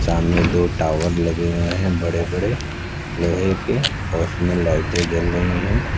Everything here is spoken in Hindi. सामने दो टावर लगे हुए हैं बड़े बड़े लोहे के उसमें लाइटें जल रही हैं।